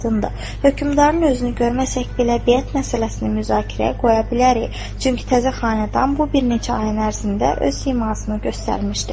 Hökmdarın özünü görməsək belə biyət məsələsini müzakirəyə qoya bilərik, çünki təzə xanədan bu bir neçə ayın ərzində öz simasını göstərmişdi.